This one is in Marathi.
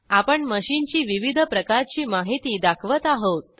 आपण मशीनची विविध प्रकारची माहिती दाखवत आहोत